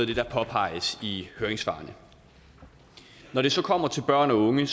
det der påpeges i høringssvarene når det så kommer til børn og unge